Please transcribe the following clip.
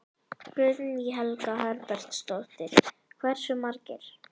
Guðný Helga Herbertsdóttir: Hversu margir?